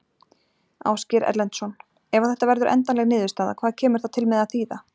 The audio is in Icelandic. Ásgeir Erlendsson: Ef að þetta verður endanleg niðurstaða, hvað kemur það til með að þýða?